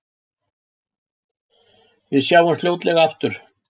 Við sjáumst fljótlega aftur.